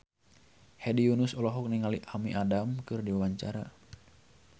Hedi Yunus olohok ningali Amy Adams keur diwawancara